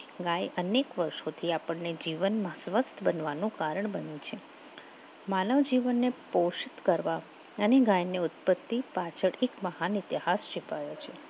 ગાય અનેક વર્ષોથી આપણને જીવનમાં સ્વસ્થ બનવાનો કારણ બને છે માનવ જીવનને પોષિત કરવા ગાયને ઉત્પત્તિ મહાન ઇતિહાસ શીખવવે છે.